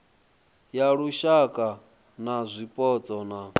ya lushaka ya zwipotso na